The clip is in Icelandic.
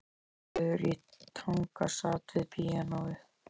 Aðalheiður í Tanga sat við píanóið.